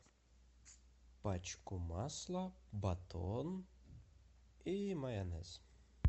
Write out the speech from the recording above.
пачку масла батон и майонез